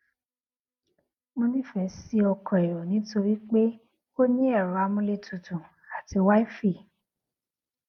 mo nīfè sí ọkò èrò nítorí pé ó ní èrọ amúlétutù àti wifi